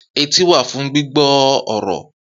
Etí wà fún gbígbọ́ ọ̀rọ̀